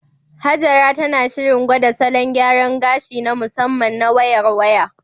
Hajara tana shirin gwada salon gyaran gashi na musamman na "Wayar Waya".